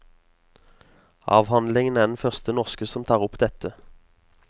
Avhandlingen er den første norske som tar opp dette.